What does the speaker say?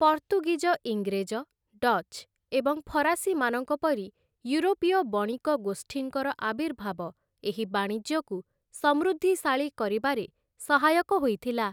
ପର୍ତ୍ତୁଗୀଜ ଇଂରେଜ, ଡ଼ଚ୍ ଏବଂ ଫରାସୀମାନଙ୍କ ପରି ୟୁରୋପୀୟ ବଣିକ ଗୋଷ୍ଠୀଙ୍କର ଆର୍ବିଭାବ ଏହି ବାଣିଜ୍ୟକୁ ସମୃଦ୍ଧିଶାଳୀ କରିବାରେ ସହାୟକ ହୋଇଥିଲା ।